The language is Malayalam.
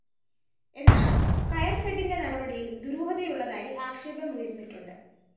എന്നാല്‍ കയര്‍ഫെഡിന്റെ നടപടിയില്‍ ദുരൂഹതയുള്ളതായി ആക്ഷേപം ഉയര്‍ന്നിട്ടുണ്ട്‌